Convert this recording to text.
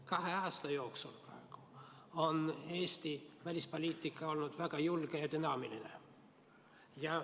Kahe aasta jooksul on Eesti välispoliitika olnud väga julge ja dünaamiline.